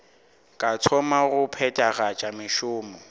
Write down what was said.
ka thoma go phethagatša mešomo